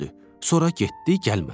Sonra getdi, gəlmədi.